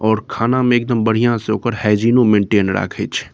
और खाना में एक दम बढ़िया से ओकर हाइजीनो मेंटेन राकेछ ।